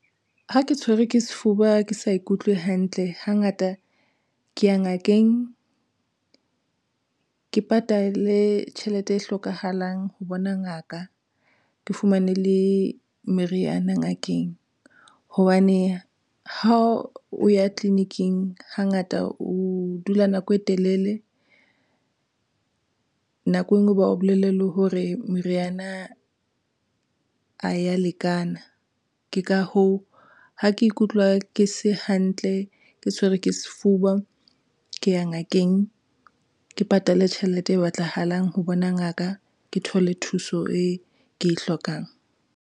Ha ke tshwerwe ke sefuba ke sa ikutlwe hantle, hangata ke ya ngakeng ke patale tjhelete e hlokahalang ho bona ngaka ke fumane le meriana ngakeng hobane ha o ya tleliniking, hangata o dula nako e telele. Nako enngwe ba o bolelle hore meriana ha eya lekana. Ke ka hoo, ha ke ikutlwa ke se hantle ke tshwerwe ke sefuba ke ya ngakeng ke patale tjhelete eo e batlahalang ho bona ngaka, ke thole thuso eo ke e hlokang.